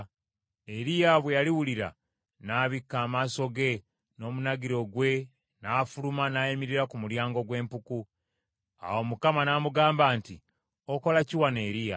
Eriya bwe yaliwulira, n’abikka amaaso ge n’omunagiro gwe n’afuluma n’ayimirira ku mulyango gw’empuku. Awo Mukama n’amugamba nti, “Okola ki wano Eriya?”